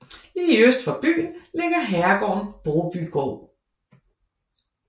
Lige øst for byen ligger herregården Brobygård